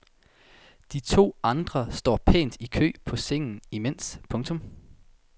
De to andre står pænt i kø på sengen imens. punktum